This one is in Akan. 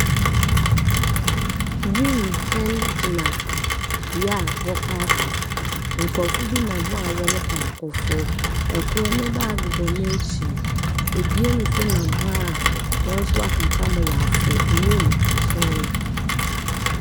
Wimhyɛn gyina bea a wɔpaake. Nkorɔfo bi nam hɔ a wɔrokɔ akɔfor. Kor ne baage bɔ n'ekyir. Ebien nso nam hɔ a wɔn nso aka kakra ma wɔafor wimhyɛn no.